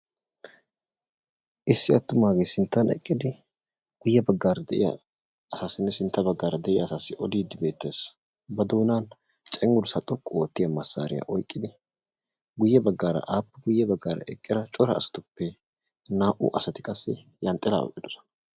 Issi attumaage sinttan eqqidi guyye baggara de'iyaa asassine sintta sintta baggara de'iyaa asassi ododde beettees; ba doonan cenggurssa xoqqu oottiyaa massariya oyqqida guyye baggara a guyye baggara eqqida cora asatuppe naa"u asati qassi yanxxilaa oyqqidoosona.